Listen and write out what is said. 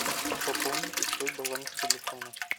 пополните свой баланс телефона